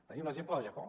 tenim l’exemple del japó